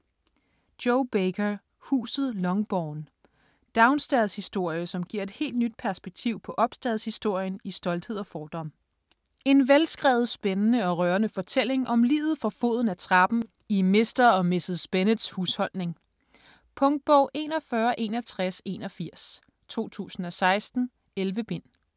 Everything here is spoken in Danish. Baker, Jo: Huset Longbourn Downstairs-historie som giver et helt nyt perspektiv på upstairs-historien i "Stolthed og fordom". En velskrevet, spændende og rørende fortælling om livet for foden af trappen i Mr. og Mrs. Bennets husholdning. Punktbog 416181 2016. 11 bind.